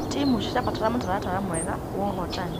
Timu cirabatara mũtaratara mwega wa ũhotani.